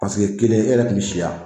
kelen e yɛrɛ tun bɛ si yan